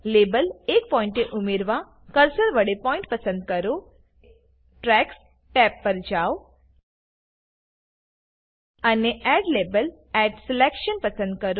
label એક પોઇન્ટે ઉમેરવા કર્સર વડે પોઈન્ટ પસંદ કરો ટ્રેક્સ ટેબ પર જાવ અને એડ લાબેલ એટી સિલેક્શન પસંદ કરો